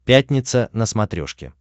пятница на смотрешке